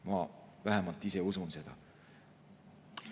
Ma vähemalt ise usun seda.